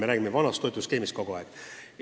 Me räägime vanast toetusskeemist kogu aeg.